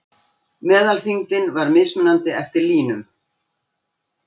Meðalþyngdin var mismunandi eftir línum.